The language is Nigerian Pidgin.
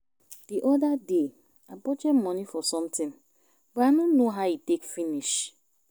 The other day I budget money for something but I no know how e take finish